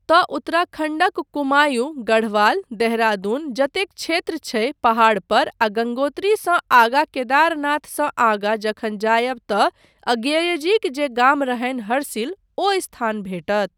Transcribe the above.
तँ उत्तराखण्डक कुमायूँ, गढ़वाल, देहरादून जतेक क्षेत्र छै पहाड़ पर आ गंगोत्रीसँ आगाँ केदारनाथसँ आगाँ जखन जायब तँ अज्ञेयजीक जे गाम रहनि हरसिल ओ स्थान भेटत।